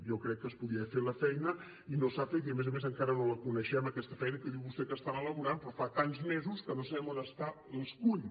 jo crec que es podia haver fet la feina i no s’ha fet i a més a més encara no la coneixem aquesta feina que diu vostè que estan elaborant però fa tants mesos que no sabem on està l’escull